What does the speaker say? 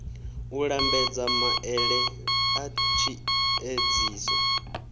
u lambedza maele a tshiedziso